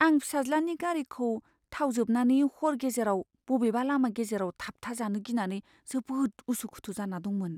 आं फिसाज्लानि गारिखौ थाव जोबनानै हर गेजेराव बबेबा लामा गेजेराव थाबथाजानो गिनानै जोबोद उसु खुथु जाना दंमोन।